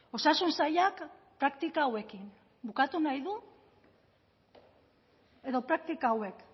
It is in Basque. osasun sailak praktika hauekin bukatu nahi du edo praktika hauek